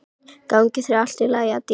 Gangi þér allt í haginn, Addý.